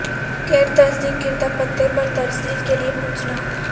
غیر تصدیق کردہ پتے پر ترسیل کے لئے پوچھنا